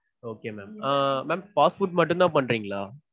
okay ma'am. Ah mam fast food மட்டும்தா பண்றீங்களா?